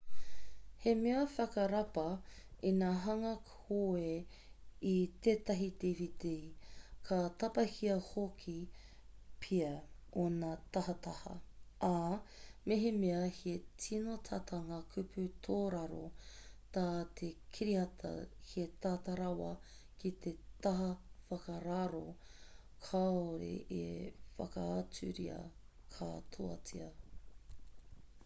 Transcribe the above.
he mea whakarapa ina hanga koe i tētahi dvd ka tapahia hoki pea ōna tahataha ā mehemea he tino tata ngā kupu tōraro tā te kiriata he tata rawa ki te taha whakararo kāore e whakaaturia katoatia